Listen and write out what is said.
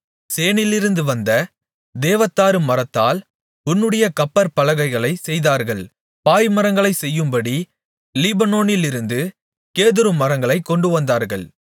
சேனீரிலிருந்து வந்த தேவதாருமரத்தால் உன்னுடைய கப்பற் பலகைகளைச் செய்தார்கள் பாய்மரங்களைச் செய்யும்படி லீபனோனிலிருந்து கேதுருமரங்களைக் கொண்டுவந்தார்கள்